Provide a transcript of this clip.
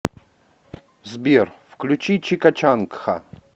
сбер включи чика чанг ха